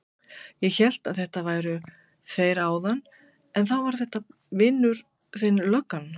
Ég hélt að þetta væru þeir áðan en þá var þetta vinur þinn löggan.